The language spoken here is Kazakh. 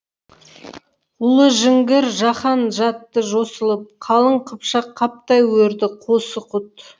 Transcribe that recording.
ұлы жіңгір жаһан жатты жосылып қалың қыпшақ қаптай өрді қосы құт